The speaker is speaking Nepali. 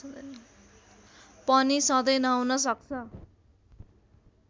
पनि सधैं नहुन सक्छ